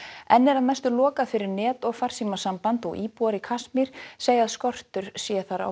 enn er að mestu lokað fyrir net og farsímasamband og íbúar í Kasmír segja að skortur sé á